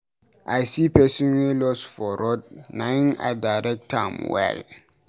I see pesin wey loss for road na im I direct am well.